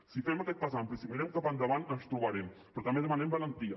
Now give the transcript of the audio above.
si fem aquest pas ampli si mirem cap endavant ens tro·barem però també demanem valentia